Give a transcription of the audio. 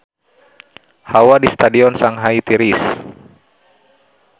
Hawa di Stadion Shanghai tiris